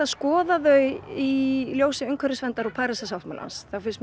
skoða þau í ljósi umhverfisverndar og Parísarsáttmálans mér finnst